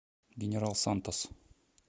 генерал сантос